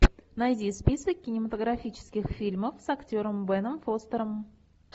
найди список кинематографических фильмов с актером беном фостером